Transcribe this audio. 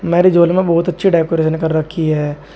Marriage hall में बहुत अच्छे डेकोरेट कर रखी है।